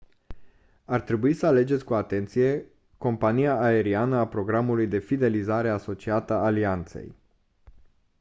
ar trebui să alegeți cu atenție compania aeriană a programului de fidelizare asociată alianței